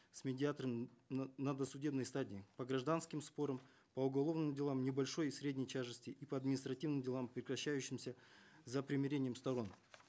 с медиатором на досудебной стадии по гражданским спорам по уголовным делам небольшой и средней тяжести и по административным делам прекращающимся за примирением сторон